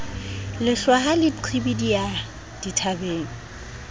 lehlwa ha le qhibidiha dithabeng